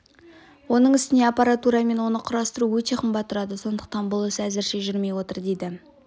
оның үстіне аппаратура мен оны құрастыру өте қымбат тұрады сондықтан бұл іс әзірше жүрмей отыр дейді